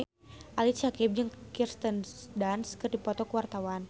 Ali Syakieb jeung Kirsten Dunst keur dipoto ku wartawan